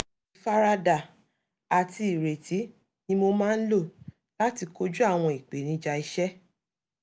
ífaradà àti ìrètí ni mo máa n lò láti kojú àwọn ìpèníjà iṣẹ́